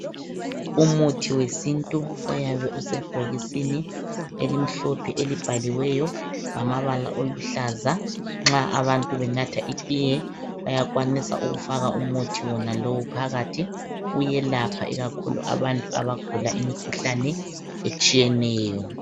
Umuthi wesintu uyabe usebhokisini elimhlophe elibhaliweyo ngamabala oluhlaza. Nxa abantu benatha itiye bayakwanisa ukufaka umuthi wonalowu phakathi. Uyelapha ikakhulu abantu abagula imikhuhlane etshiyeneyo